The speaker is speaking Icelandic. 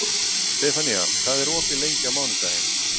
Stefanía, hvað er opið lengi á mánudaginn?